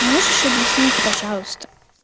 можешь объяснить пожалуйста